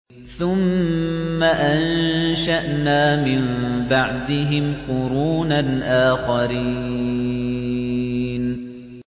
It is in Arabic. ثُمَّ أَنشَأْنَا مِن بَعْدِهِمْ قُرُونًا آخَرِينَ